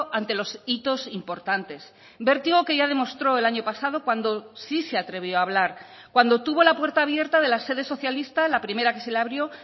ante los hitos importantes vértigo que ya demostró el año pasado cuando sí se atrevió a hablar cuando tuvo la puerta abierta de la sede socialista la primera que se le abrió